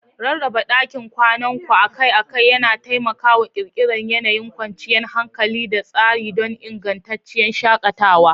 Rarraba ɗakin kwanan ku akai-akai yana taimakawa ƙirƙirar yanayin kwanciyar hankali da tsari don ingantacciyar shakatawa.